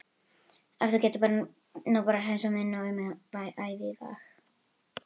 Ef þú gætir nú bara hreinsað minn auma æviveg.